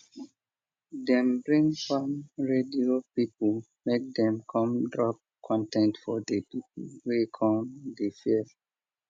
dem bring farm radio pipo make dem come drop con ten t for di pipo wey come di fair